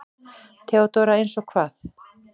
THEODÓRA: Eins og hvað?